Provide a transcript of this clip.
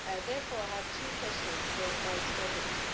Therefore I have two questions for the Vice President.